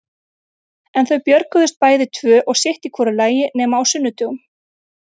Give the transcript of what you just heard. En þau björguðust bæði tvö og sitt í hvoru lagi nema á sunnudögum.